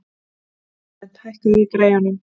Flóvent, hækkaðu í græjunum.